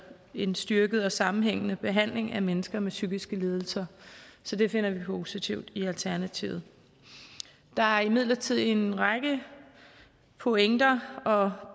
en styrket og sammenhængende behandling af mennesker med psykiske lidelser så det finder vi positivt i alternativet der er imidlertid en række pointer og